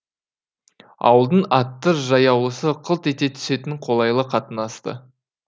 ауылдың атты жаяулысы қылт ете түсетін қолайлы қатынасты